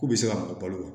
K'u bɛ se ka mara balo kan